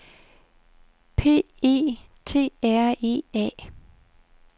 P E T R E A